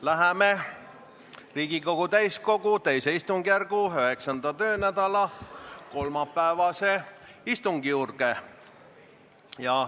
Läheme Riigikogu täiskogu II istungjärgu 9. töönädala kolmapäevase istungi juurde.